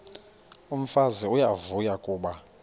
umfazi uyavuya kuba